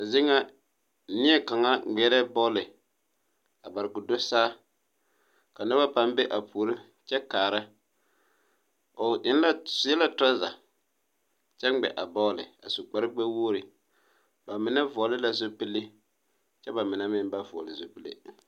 Zeɛ nga neɛ kanga ngmeɛre bɔle a bare kuo do saa ka nuba paa be a poɔre kye kaara ɔ enna ɔ seɛ la truza kye ngmɛ a bɔl a su kpare nu gbe wɔgre ba menne vɔgli la zupile kye ba menne meng ba vɔgle zupile.